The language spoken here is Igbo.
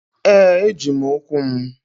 Ee! Eji m ụkwụ m.